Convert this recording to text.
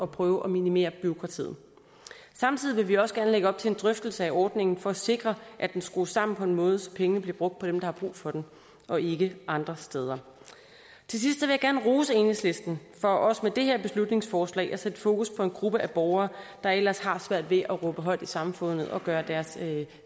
prøve at minimere bureaukratiet samtidig vil vi også gerne lægge op til en drøftelse af ordningen for at sikre at den skrues sammen på en måde så pengene bliver brugt på dem der har brug for dem og ikke andre steder til sidst vil jeg gerne rose enhedslisten for også med det her beslutningsforslag at sætte fokus på en gruppe af borgere der ellers har svært ved at råbe højt i samfundet og gøre deres